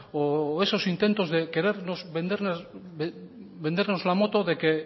o esos intentos de querernos vendernos la moto